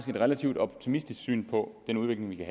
relativt optimistisk syn på den udvikling vi kan